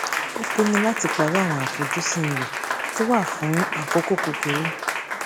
ó pinnu láti parí àwọn àfojúsìn rẹ tó wà fún àkókò kúkurú